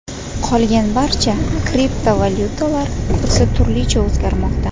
Qolgan barcha kriptovalyutalar kursi turlicha o‘zgarmoqda.